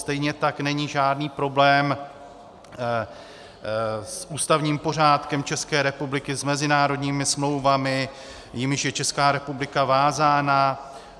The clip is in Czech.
Stejně tak není žádný problém s ústavním pořádkem České republiky, s mezinárodními smlouvami, jimiž je Česká republika vázána.